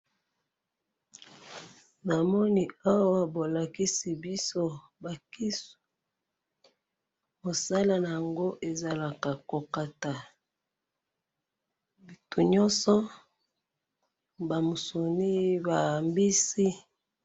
Namoni awa balakisi biso bakisu, musala nayango ezalaka kokata bitu nyonso, bamusuni ba mbisi.